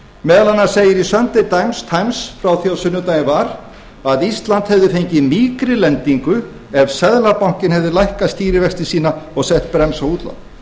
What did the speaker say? meðal annars segir í sunday times frá því á sunnudaginn var að ísland hefði fengið mýkri lendingu ef seðlabankinn hefði lækkað stýrivexti sína og sett bremsu á útlán